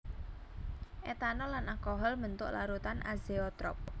Etanol lan alkohol mbentuk larutan azeotrop